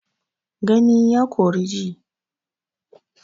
Gani ya kori ji.